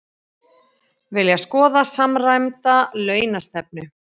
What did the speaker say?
Vilja skoða samræmda launastefnu